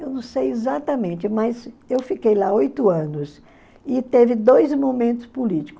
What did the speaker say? Eu não sei exatamente, mas eu fiquei lá oito anos e teve dois momentos políticos.